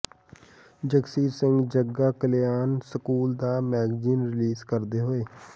Jagsir Singh Jagga Kalyan school ਦਾ magazine release ਕਰਦੇ ਹੋਏ